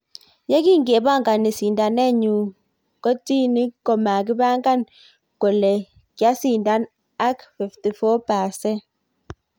Yekingepingan sindaanet nyu kotini komakipingan kole kyasindan ak 54%